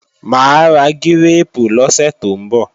Mà á ra gírèèpù lọ́sẹ̀ tó ń bọ̀